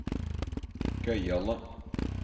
gøyale